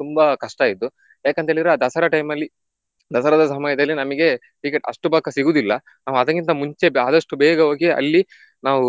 ತುಂಬಾ ಕಷ್ಟಾಯ್ತು. ಯಾಕಂತ ಹೇಳಿದ್ರೆ ದಸರಾ time ಅಲ್ಲಿ ದಸರಾದ ಸಮಯದಲ್ಲಿ ನಮಿಗೆ ticket ಅಷ್ಟು ಪಕ್ಕ ಸಿಗುದಿಲ್ಲ ನಾವು ಅದಕ್ಕಿಂತ ಮುಂಚೆ ಆದಷ್ಟು ಬೇಗ ಹೋಗಿ ಅಲ್ಲಿ ನಾವು